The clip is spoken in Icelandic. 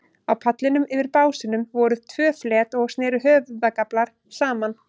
Á pallinum, yfir básunum, voru tvö flet og sneru höfðagaflar saman.